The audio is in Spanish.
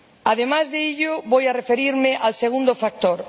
Además de ello, voy a referirme al segundo factor.